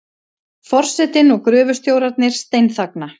Forsetinn og gröfustjórarnir steinþagna.